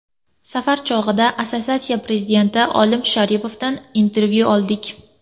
Safar chog‘ida assotsiatsiya prezidenti Olim Sharipovdan intervyu oldik.